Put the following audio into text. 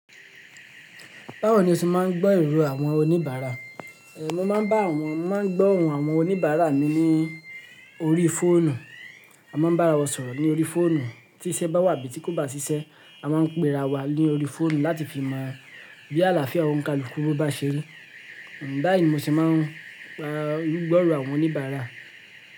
Báwo ni o ṣe máa ń gbọ́ ìrò àwọn oníbàárà? Ẹ̀, mo máa ń bá àwọn, máa ń gbọ́ ohùn àwọn oníbàárà mi ní orí fóònù. A máa ń bá ara wa sọ̀rọ̀ ní orí fóònù. Tí iṣẹ́ bá wà abí tí kò bá ṣiṣẹ́, a máa ń pe ara wa lórí fóònù láti fi mọ bí àlàáfíà onkaluku won bá ṣe rí. N báyí ni mo ṣe máa ń gbọ́ ìrò àwọn oníbàárà.